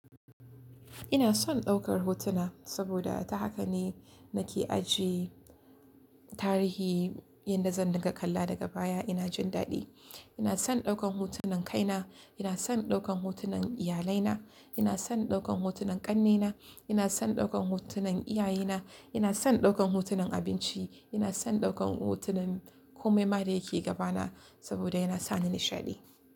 Ina son ɗaukar hotuna saboda ta haka ne nake ajiye tarihi yadda zan riƙa kalla daga baya ina jin daɗi. Ina son ɗaukan hotunan kaina, ina son ɗaukan hotunan iyalaina, ina son ɗaukan hotunan ƙannaina, ina son ɗaukan hotunan iyaye na, ina son ɗaukan hotunan abinci, ina son ɗaukan hotunan kome ma dayake gabana saboda yana sani nishaɗi.